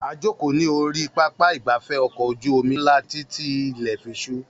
A jókòó ní orí pápá ìgbafẹ́ ọkọ̀ ojú omi ńlá títí tí ilè fi súú